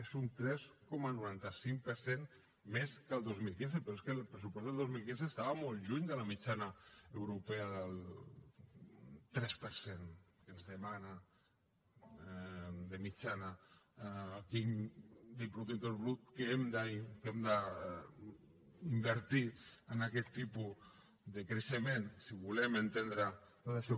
és un tres coma noranta cinc per cent més que el dos mil quinze però és que el pressupost del dos mil quinze estava molt lluny de la mitjana europea del tres per cent que ens demana de mitjana quin de producte interior brut hem d’invertir en aquest tipus de creixement si volem entendre tot això